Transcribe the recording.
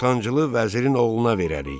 Ortancılı vəzirin oğluna verərik.